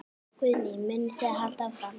Guðný: Munið þið halda áfram?